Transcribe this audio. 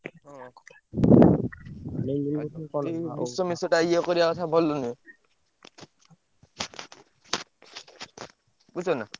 ମିଶେଟା ଇଏ କରିଆ କଥା ଭଲ ନୁହଁ। ବୁଝୁଛନା।